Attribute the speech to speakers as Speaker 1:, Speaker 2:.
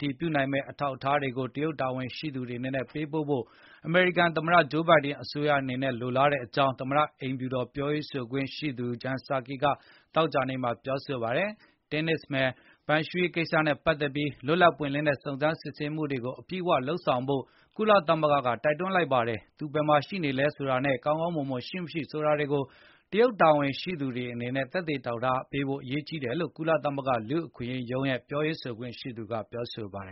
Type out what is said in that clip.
Speaker 1: တည်ပြုနိုင်မယ့် အထောက်အထားတွေကို တရုတ်တာဝန်ရှိသူတွေအနေနဲ့ ပေးဖို့ အမေရိကန်သမတဂျိုးဘိုင်ဒင်အစိုးရအနေနဲ့ လိုလားတယ်လို့ သမတအိမ်ဖြူတော် ပြောရေးဆို ခွင့်ရှိသူ Jen Psaki ကသောကြာနေ့မှာ ပြောဆိုလိုက်ပါတယ်။ တင်းနစ်မယ် Peng Shuai ရဲ့ကိစ္စနဲ့ပတ်သက်ပြီး လွတ်လပ်ပွင့်လင်းတဲ့ စုံးစမ်းစစ်ဆေးမှုကို အပြည့်အဝလုပ်ဆောင်ဖို့ ကုလသမကုလသမဂ္ဂကလည်းတိုက်တွန်းလိုက်ပါတယ်။ သူ ဘယ်မှာရှိနေလဲဆိုတာနဲ့ ကောင်းမွန်စွာရှိမရှိဆိုတာကို တရုတ်တာဝန်ရှိသူတွေအနေနဲ့ သက်သေအထောက်အထားပြ ဖို့ရေးကြီးတယ်လို့ ကုလသမဂ္ဂ လူ့အခွင့်အရေးရုံးရဲ့ပြောရေး ဆိုခွင့်ရှိသူ Liz Throssell ကပြောဆိုခဲ့ပါတယ်